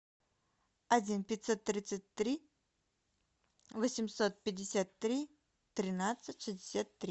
один пятьсот тридцать три восемьсот пятьдесят три тринадцать шестьдесят три